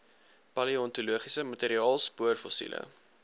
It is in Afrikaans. paleontologiese materiaal spoorfossiele